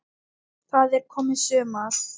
Það er komið sumar.